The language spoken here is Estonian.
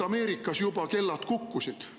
Ameerikas juba kellad kukkusid.